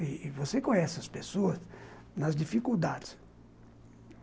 E você conhece as pessoas nas dificuldades.